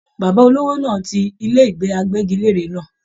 Bàbá olówó náà tí ilé ìgbé àgbẹgilère náà.